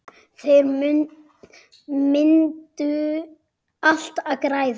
Þannig myndu allir græða.